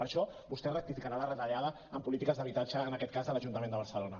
per això vostè rectificarà la retallada en polítiques d’habitatge en aquest cas de l’ajuntament de barcelona